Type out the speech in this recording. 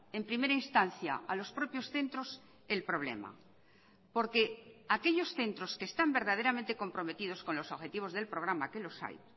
en primera instancia a los propios centros el problema porque aquellos centros que están verdaderamente comprometidos con los objetivos del programa que los hay